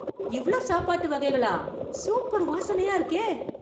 இவ்ளோ சாப்பாட்டு வகைகளா... சூப்பர் வாசனை வாசனையா இருக்கே...